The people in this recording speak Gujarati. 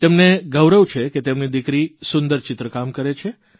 તેમને ગૌરવ છે કે તેમની દિકરી સુંદર ચિત્રકામ કરે છે